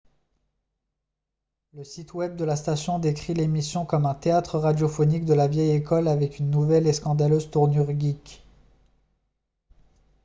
le site web de la station décrit l’émission comme un « théâtre radiophonique de la vieille école avec une nouvelle et scandaleuse tournure geek !»